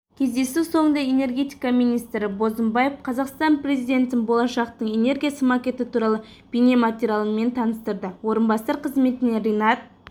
кездесу соңында энергетика министрі бозымбаев қазақстан президентін болашақтың энергиясы макеті туралы бейнематериалмен таныстырды орынбасар қызметіне ринат